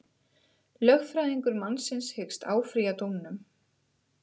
Lögfræðingur mannsins hyggst áfrýja dómnum